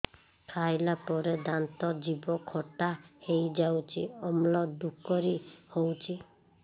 ଖାଇଲା ପରେ ଦାନ୍ତ ଜିଭ ଖଟା ହେଇଯାଉଛି ଅମ୍ଳ ଡ଼ୁକରି ହଉଛି